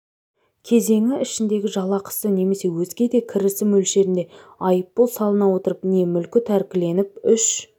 кезеңі ішіндегі жалақысы немесе өзге де кірісі мөлшерінде айыппұл салына отырып не мүлкі тәркіленіп үш